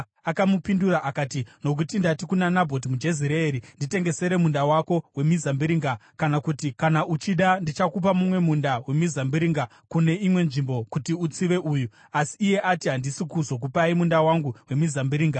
Akamupindura akati, “Nokuti ndati kuna Nabhoti muJezireeri, ‘Nditengesere munda wako wemizambiringa; kana kuti, kana uchida, ndichakupa mumwe munda wemizambiringa kune imwe nzvimbo kuti, utsive uyu.’ Asi iye ati, ‘Handisi kuzokupai munda wangu wemizambiringa.’ ”